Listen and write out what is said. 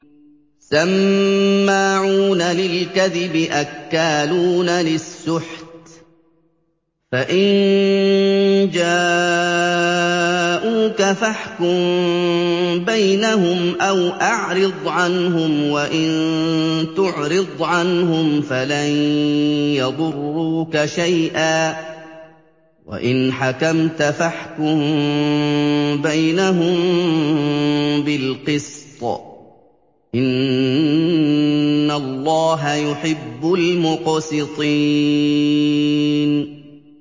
سَمَّاعُونَ لِلْكَذِبِ أَكَّالُونَ لِلسُّحْتِ ۚ فَإِن جَاءُوكَ فَاحْكُم بَيْنَهُمْ أَوْ أَعْرِضْ عَنْهُمْ ۖ وَإِن تُعْرِضْ عَنْهُمْ فَلَن يَضُرُّوكَ شَيْئًا ۖ وَإِنْ حَكَمْتَ فَاحْكُم بَيْنَهُم بِالْقِسْطِ ۚ إِنَّ اللَّهَ يُحِبُّ الْمُقْسِطِينَ